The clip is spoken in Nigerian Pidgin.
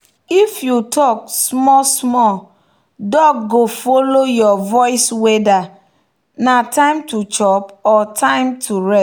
if you talk small small duck go follow your voiceweather na time to chop or time time to rest.